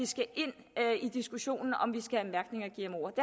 skal ind i diskussionen om vi skal en